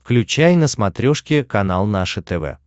включай на смотрешке канал наше тв